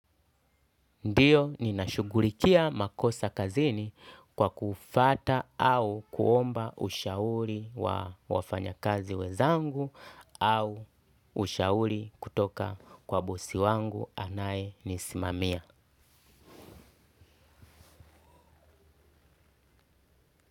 Ndiyo ninashugulikia makosa kazini kwa kufata au kuomba ushauri wa wafanya kazi wenzangu au ushauri kutoka kwa bosi wangu anaye nisimamia.